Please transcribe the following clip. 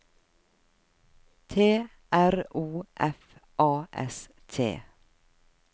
T R O F A S T